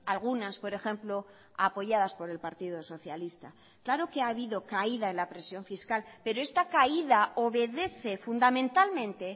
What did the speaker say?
algunas por ejemplo apoyadas por el partido socialista claro que ha habido caída en la presión fiscal pero esta caída obedece fundamentalmente